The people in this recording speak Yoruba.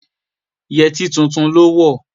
Yẹtí tuntun ló wọ̀